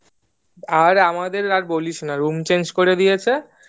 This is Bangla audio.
আর আমাদের আর বলিসনা room change করে দিয়েছে